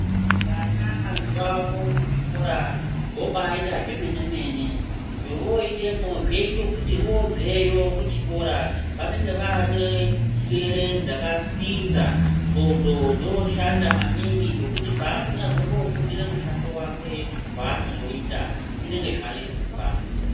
Vana mazuvano muzvikora vobaita zvemene mene zvovoita vobveyo kuchikora vanenge vane njere dzakapinza ndxondo dzoshanda maningi zvokuti paanonyazombofundire mushando wake waanozoita zvinenge zvareruka.